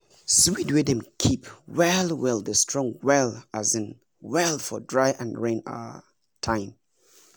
seed wey dem keep well well dey strong well um well for dry and rain um time